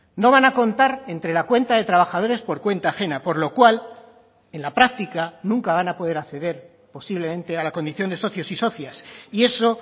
no van a contar entre la cuenta de trabajadores por cuenta ajena por lo cual en la práctica nunca van a poder acceder posiblemente a la condición de socios y socias y eso